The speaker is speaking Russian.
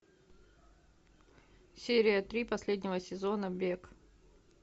серия три последнего сезона бег